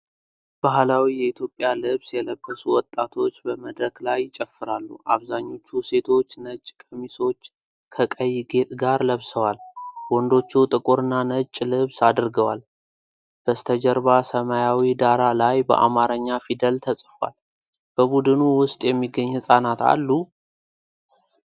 ባህላዊ የኢትዮጵያ ልብስ የለበሱ ወጣቶች በመድረክ ላይ ይጨፍራሉ። አብዛኞቹ ሴቶች ነጭ ቀሚሶች ከቀይ ጌጥ ጋር ለብሰዋል። ወንዶቹ ጥቁርና ነጭ ልብስ አድርገዋል። በስተጀርባ ሰማያዊ ዳራ ላይ በአማርኛ ፊደል ተጽፏል። በቡድኑ ውስጥ የሚገኙ ሕፃናት አሉ?